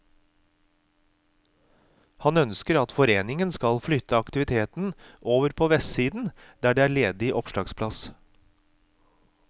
Han ønsker at foreningen skal flytte aktiviteten over på vestsiden der det er ledig opplagsplass.